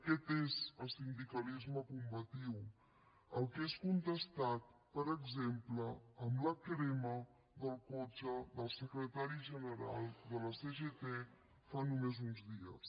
aquest és el sindicalisme combatiu el que és contestat per exemple amb la crema del cotxe del secretari general de la cgt fa només uns dies